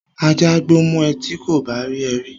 Ajá á gbó mọ ẹ ti kò bá rí ẹ rí